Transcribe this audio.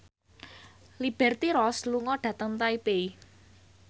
Liberty Ross lunga dhateng Taipei